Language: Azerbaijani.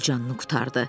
Öldü, canını qurtardı.